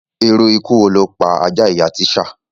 Irú ikú wo ló pa àjà ìyá Tíṣá?